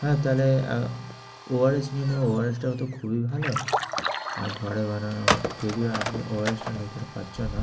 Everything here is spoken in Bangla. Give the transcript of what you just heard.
হ্যাঁ তাইলে ওয়ারিশ নিয়ে নেবে ওয়ারিশটা তো খুবই ভালো, ঘরে বানানো। যদিও আপনি ওয়ারিশটা নিতে পারছো না,